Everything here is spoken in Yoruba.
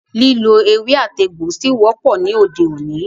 Lílo ewé àti egbò ṣí wọ́pọ̀ ní òde òní.